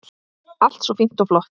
Allt svo fínt og flott.